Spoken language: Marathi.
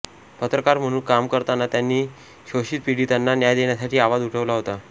पत्रकार म्हणून काम करताना त्यांनी शोषितपीडितांना न्याय देण्यासाठी आवाज उठवला होता